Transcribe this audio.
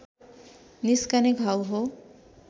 निस्कने घाउ हो